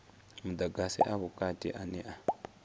mudagasi a vhukati ane a